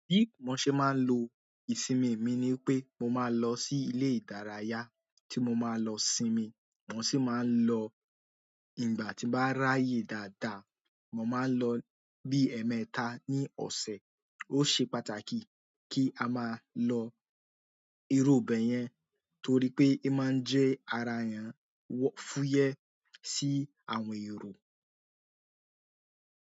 Bí mo ṣe máa ń lo ìsinmi mi ni pé mo máa lọ sí ilé ìdárayá tí mo máa lọ sinmi. Mo sì máa ń lọ ìgbà tí bá ráyè dáadáa, mo máa ń lọ bí ẹ̀ẹ̀mẹta ní ọ̀sẹ̀. Ó ṣe pàtàkì kí a máa lọ irú bẹ̀ yẹn torí pé ẹ máa ń jẹ ara èèyàn wọ-- fúyẹ́ sí àwọn èrò.